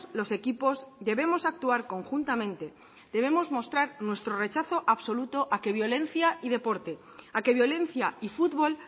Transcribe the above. los equipos debemos actuar conjuntamente debemos mostrar nuestro rechazo absoluto a que violencia y deporte a que violencia y fútbol